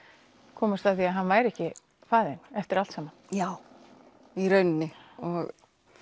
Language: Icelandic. komast að því að hann væri ekki faðir þinn eftir allt saman já í rauninni og